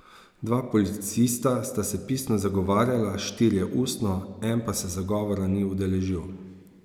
Dva policista sta se pisno zagovarjala, štirje ustno, en pa se zagovora ni udeležil.